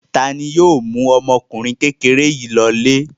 Ta ni yóò mú ọmọkùnrin kékeré yìí lọlé?